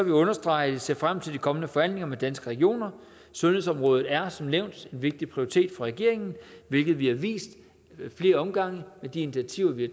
jeg understrege at vi ser frem til de kommende forhandlinger med danske regioner sundhedsområdet er som nævnt en vigtig prioritet for regeringen hvilket vi har vist ad flere omgange med de initiativer vi